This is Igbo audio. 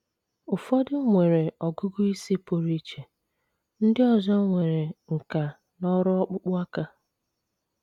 Ụfọdụ nwere ọgụgụ isi pụrụ iche; ndị ọzọ nwere nkà n’ọrụ ọkpụkpụ aka.